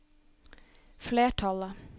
flertallet